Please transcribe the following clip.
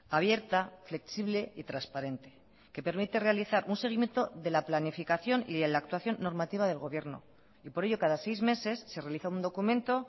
abierta flexible y transparente que permite realizar un seguimiento de la planificación y de la actuación normativa del gobierno y por ello cada seis meses se realiza un documento